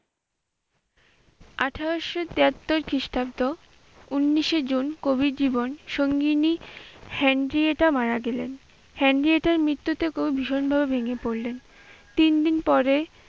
আঠারোশ তিয়াত্তর খ্রিষ্টাব্দ, উনিশে জুন কবির জীবন সঙ্গীনি হেনরিয়েটা মারা গেলেন। হেনরিয়েটার মৃত্যুতে কবি ভীষণভাবে ভেঙ্গে পড়লেন। তিনদিন পরে